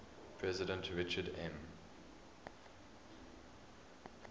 president richard m